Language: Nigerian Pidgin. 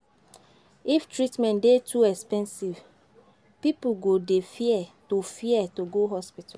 If treatment dey too expensive, pipo go dey fear to fear to go hospital